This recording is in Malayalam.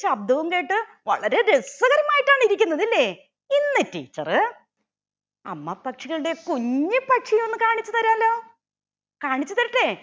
ശബ്‌ദവും കേട്ട് വളരെ രസകരമായിട്ടാണിരിക്കുന്നത് അല്ലെ ഇന്ന് teacher അമ്മ പക്ഷികളുടെ കുഞ്ഞി പക്ഷിയെ ഒന്ന് കാണിച്ച് താരാലോ കാണിച്ച് തരട്ടെ